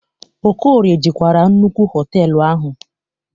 Okorie jikwara nnukwu họtelụ ahu.